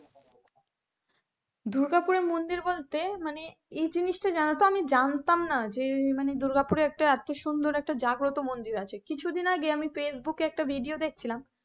দুর্গাপুরের মন্দির বলতে মানে এই জিনিসটা জানো তো আমি জানতাম না যে দুর্গাপুরে এত সুন্দর একটা জাগ্রত মন্দির আছে কিছুদিন আগে ফেসবুক একটা ভিডিও দেখছিলাম।